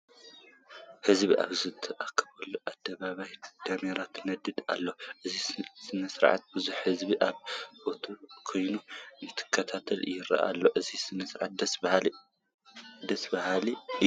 ሕዝቢ ኣብ ዝተኣከበሉ ኣደባባይ ዳሜራ ትነድድ ኣላ፡፡ ነዚ ስርዓት ብዙሕ ህዝቢ ኣብ ቦትኡ ኮይኑ እንትከታተሎ ይርአ ኣሎ፡፡ እዚ ስርዓት ደስ በሃሊ እዩ፡፡